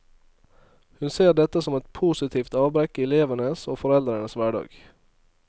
Hun ser dette som et positivt avbrekk i elevenes og foreldrenes hverdag.